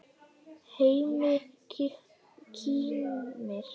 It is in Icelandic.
Hemmi kímir.